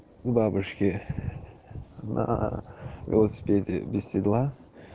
бабушки на велосипеде без седла